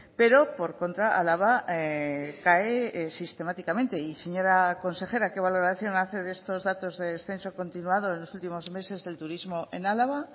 pero por contra álava cae sistemáticamente y señora consejera qué valoración hace de estos datos de descenso continuado en los últimos meses del turismo en álava